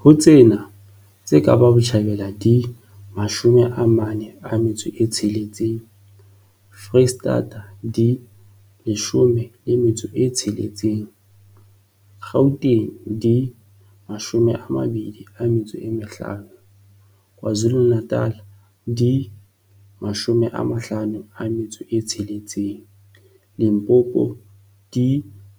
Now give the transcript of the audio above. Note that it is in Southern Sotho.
Ho tsena, tse Kapa Botjhabela di 46, Freistata di 16, Gauteng di 25, KwaZulu-Natal di 56, Limpopo di